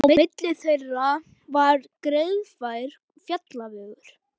Á milli þeirra var greiðfær fjallvegur.